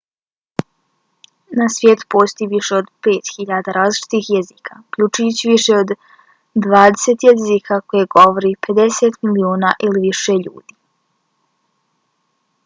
na svijetu postoji više od 5.000 različitih jezika uključujući više od dvadeset jezika koje govori 50 miliona ili više ljudi